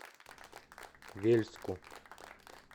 вельску